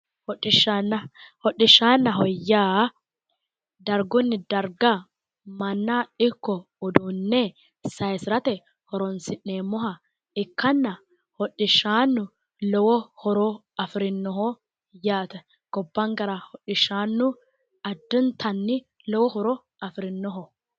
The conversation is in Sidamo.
hodhishshana hodhishshannaho yaa dargunni darga manna ikko uduunne saysirate horoonsi'nemmoha ikkanna hdhishshannu lowo horo afirinnoho yaate gobbankkera hodhishshannu addintanni lowo horo afirinnoho